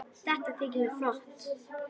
Þetta þykir mér flott!